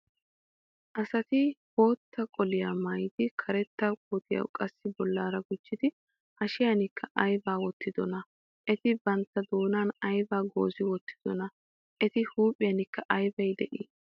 Asati bootta qoliya maayidi karetta koottiya qassi bollaara gujjidi hashiyankka aybba wottidona? Eti bantta doonaa aybbin goozi wottidona? Eta huuphiyankka aybbi de'ii?